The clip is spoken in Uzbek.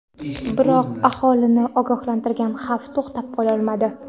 Biroq aholini ogohlantirilayotgan xavf to‘xtatib qololmadi.